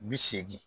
Bi seegin